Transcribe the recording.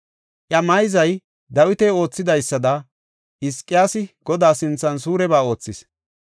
Iya mayzay Dawiti oothidaysada, Hizqiyaasi Godaa sinthan suureba oothis.